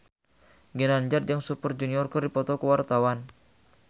Ginanjar jeung Super Junior keur dipoto ku wartawan